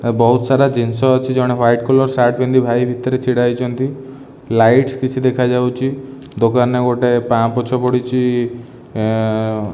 ବହୁତ ସାରା ଜିନିଷ ଅଛି। ଜଣେ ହ୍ୱାଇଟ କଲର ସାର୍ଟ ପିନ୍ଧି ଭାଇ ଭିତରେ ଛିଡାହେଇଛନ୍ତି। ଲାଇଟ୍ସ କିଛି ଦେଖାଯାଉଛି। ଦୋକାନରେ ଗୋଟେ ପାପୋଛ ପଡିଚି --